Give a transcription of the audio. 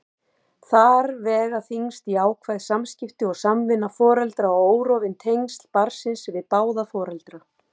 Þar vega þyngst jákvæð samskipti og samvinna foreldra og órofin tengsl barnsins við báða foreldra.